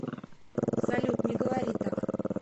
салют не говори так